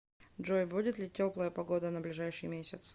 джой будет ли теплая погода на ближайший месяц